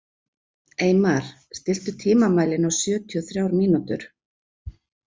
Eymar, stilltu tímamælinn á sjötíu og þrjár mínútur.